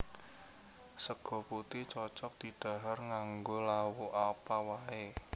Sega putih cocog didhahar nganggo lawuh apa wae